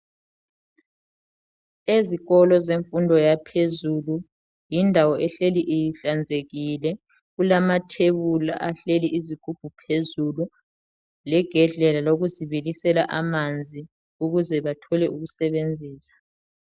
Ezikolo zemfundo yaphezulu yindawo okumele ihlale ihlanzekile kulamathebuli ahleli izigubhu phezulu legedlela lokuzibilisela amanzi ukuze bathole ukusebenzisa